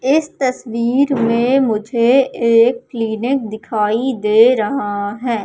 इस तस्वीर में मुझे एक क्लीनिक दिखाई दे रहा है।